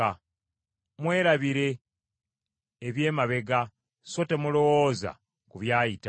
“Mwerabire eby’emabega, so temulowooza ku by’ayita.